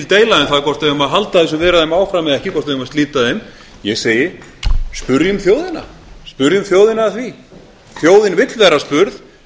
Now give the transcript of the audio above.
deila um það hvort við eigum að halda þessum viðræðum áfram eða ekki hvort við eigum að slíta þeim ég segi spyrjum þjóðina spyrjum þjóðina að því þjóðin vill vera spurð